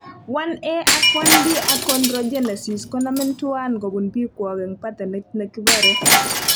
1A ag 1B achondrogenesis konomin tuan kopun pikwok en patternit negipore